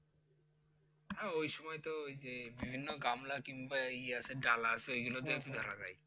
হ্যাঁ ওই সময় তো ওই যে বিভিন্ন গামলা কিংবা ইয়ে আছে ডালা আছে এইগুলা দিয়ে ধরা যায়